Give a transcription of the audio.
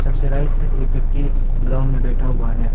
सबसे right side एक व्यक्ति ग्राउंड में बैठा हुआ है।